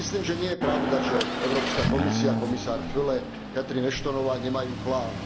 Ja si myslím, že nie je pravda, že Európska komisia, komisár Füle, Catherine Ashtonová nemajú plán.